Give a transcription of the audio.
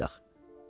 Bakıya qayıdaq.